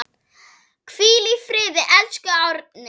Hvíl í friði, elsku Árni.